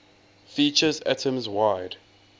features atoms wide